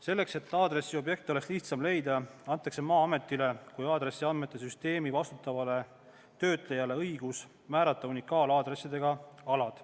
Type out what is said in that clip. Selleks, et aadressiobjekti oleks lihtsam leida, antakse Maa-ametile kui aadressiandmete süsteemi vastutavale töötlejale õigus määrata unikaalaadressi nõudega alad.